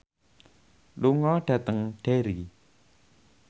lunga dhateng Derry